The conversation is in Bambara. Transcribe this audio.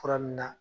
Fura min na